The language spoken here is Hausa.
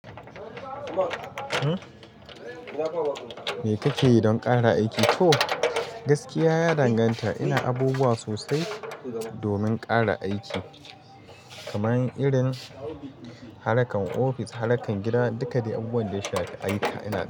Me kake yi don ƙara aiki? To gaskiya ya danganta, ina abubuwa sosai domin ƙara aiki kamar irin harkan ofis, harkan gida. Duka dai abubuwan da ya shafi ayyuka ina.